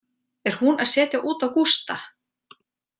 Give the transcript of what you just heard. Er hún að setja út á Gústa?